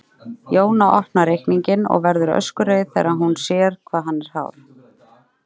Jóna opnar reikninginn og verður öskureið þegar hún sér hvað hann er hár.